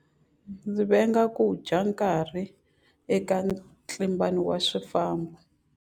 Ndzi venga ku dya nkarhi eka ntlimbano wa swifambo.